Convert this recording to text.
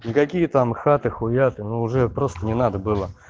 никакие там хаты хуяты уже просто не надо было